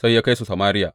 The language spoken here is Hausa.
Sai ya kai su Samariya.